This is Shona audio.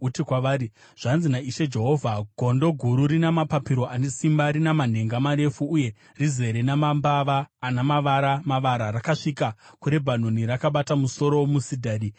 Uti kwavari, ‘Zvanzi naIshe Jehovha: Gondo guru rina mapapiro ane simba, rina manhenga marefu uye rizere namambava ana mavara mavara rakasvika kuRebhanoni. Rakabata musoro womusidhari,